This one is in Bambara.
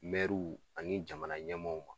Mɛruw ani jamana ɲɛmɔw ma